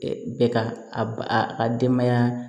Bɛɛ ka a ka denbaya